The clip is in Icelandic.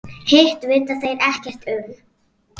Hitt vita þeir ekkert um.